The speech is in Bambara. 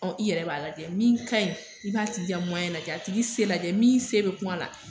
Ɔn i yɛrɛ b'a lajɛ min ka ɲi, i b'a tigi ka lajɛ ,a tigi se lajɛ min se be kun a la.